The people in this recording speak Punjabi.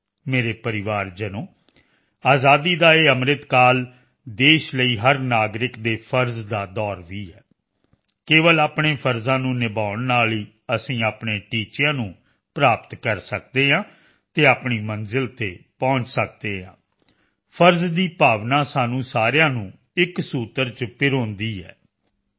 ਮੇਰੇ ਪਰਿਵਾਰਜਨੋ ਆਜ਼ਾਦੀ ਦਾ ਇਹ ਅੰਮ੍ਰਿਤਕਾਲ ਦੇਸ਼ ਲਈ ਹਰ ਨਾਗਰਿਕ ਦੇ ਫਰਜ਼ ਦਾ ਦੌਰ ਵੀ ਹੈ ਕੇਵਲ ਆਪਣੇ ਫਰਜ਼ਾਂ ਨੂੰ ਨਿਭਾਉਣ ਨਾਲ ਹੀ ਅਸੀਂ ਆਪਣੇ ਟੀਚਿਆਂ ਨੂੰ ਪ੍ਰਾਪਤ ਕਰ ਸਕਦੇ ਹਾਂ ਅਤੇ ਆਪਣੀ ਮੰਜ਼ਿਲ ਤੇ ਪਹੁੰਚ ਸਕਦੇ ਹਾਂ ਫਰਜ਼ ਦੀ ਭਾਵਨਾ ਸਾਨੂੰ ਸਾਰਿਆਂ ਨੂੰ ਇਕ ਸੂਤਰ ਚ ਪਰੋਂਦੀ ਹੈ ਯੂ